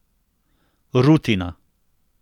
Rutina.